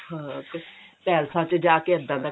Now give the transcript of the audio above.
ਹਾਂ ਪੈਲੇਸਾਂ ਚ ਜਾਕੇ ਇੱਦਾਂ ਦਾ ਕੰਮ